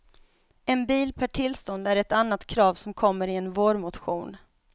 En bil per tillstånd är ett annat krav som kommer i en vårmotion.